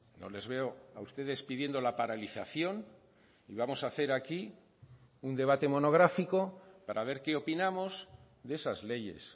no les veo a ustedes pidiendo la paralización y vamos a hacer aquí un debate monográfico para ver qué opinamos de esas leyes